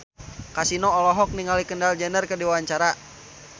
Kasino olohok ningali Kendall Jenner keur diwawancara